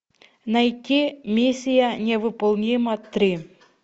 найти миссия невыполнима три